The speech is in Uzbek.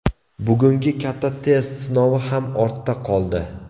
Bugungi katta test sinovi ham ortda qoldi.